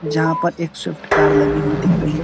जहां पर एक स्विफ्ट कार लगी हुई दिख रही है।